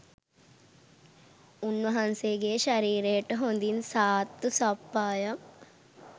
උන්වහන්සේගේ ශරීරයට හොඳින් සාත්තු සප්පායම්